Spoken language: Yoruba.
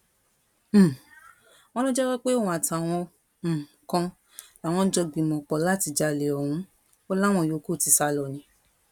um wọn ló jẹwọ pé òun àtàwọn um kan làwọn jọ gbìmọ̀pọ̀ láti jalè ọ̀hún o láwọn yòókù ti sá lọ ni